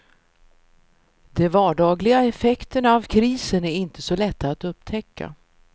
De vardagliga effekterna av krisen är inte så lätta att upptäcka.